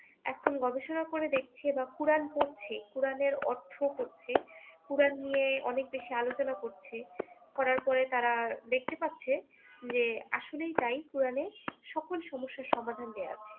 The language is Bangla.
এখন গবেষনা করে দেখছে বা কোরআন পড়ছে কোরআন এর অর্থও পড়ছে। কোরআন নিয়ে অনেক বেশী আলোচনা করছে। করার পরে তারা দেখতে পাচ্ছে যে আসলেই তাই কোরআন সকল সমস্যার সমাধান দেয়া আছে।